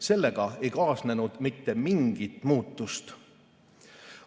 Sellega ei kaasnenud mitte mingit muutust.